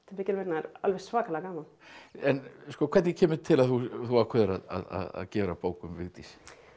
mikil vinna en alveg svakalega gaman en hvernig kemur til að þú ákveður að gera bók um Vigdísi